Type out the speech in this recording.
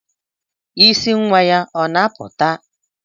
Isí nwa ya ọ na-apụta?